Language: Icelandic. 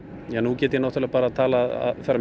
ja nú get ég bara talað